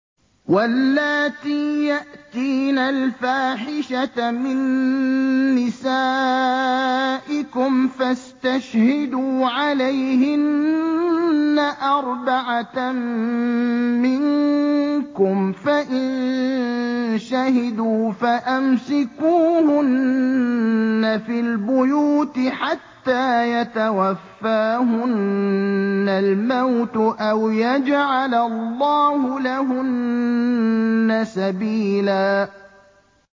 وَاللَّاتِي يَأْتِينَ الْفَاحِشَةَ مِن نِّسَائِكُمْ فَاسْتَشْهِدُوا عَلَيْهِنَّ أَرْبَعَةً مِّنكُمْ ۖ فَإِن شَهِدُوا فَأَمْسِكُوهُنَّ فِي الْبُيُوتِ حَتَّىٰ يَتَوَفَّاهُنَّ الْمَوْتُ أَوْ يَجْعَلَ اللَّهُ لَهُنَّ سَبِيلًا